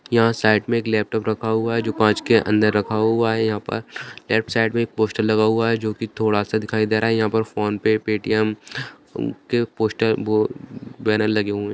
यहां पर साइड मे एक लेपटॉप रखा हुआ है जो कांच के अंदर रखा हुआ है यहां पर लेफ्ट साइड मे एक पोस्टर लगा हुआ है जो की थोड़ा सा दिखाई दे रहा है यहां पर फोनपे पेटीएम के पोस्टर बैनर लगे हुए हैं।